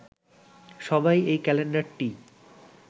সবাই এই ক্যালেন্ডারটিই